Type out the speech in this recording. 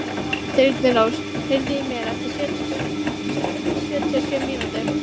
Þyrnirós, heyrðu í mér eftir sjötíu og sjö mínútur.